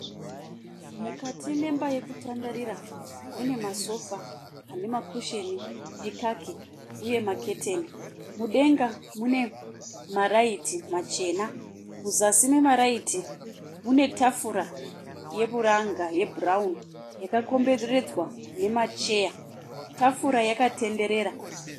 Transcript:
Mukati memba yekutandarira mune masofa ane makusheni ekaki uye maketeni. Mudenga mune maraiti machena, muzasi memaraiti mune tafura yeburanga yebhurauni yakakomberedzwa nemacheya. Tafura yakatenderera